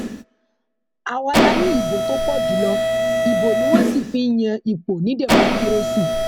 àwa la ní ìbò tó pọ jù lọ ibo ni wọn sì fi ń yan ipò ní dẹmọkírésì